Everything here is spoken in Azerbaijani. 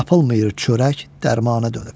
Tapılmıyır çörək, dərmana dönüb.